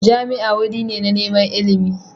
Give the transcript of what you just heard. Jami'a wuri ne na neman ilimi